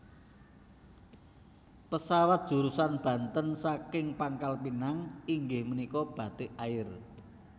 Pesawat jurusan Banten saking Pangkal Pinang inggih menika Batik Air